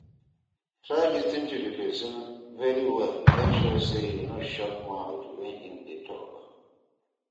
Try lis ten to di persin very well make sure say you no shook mouth when im de talk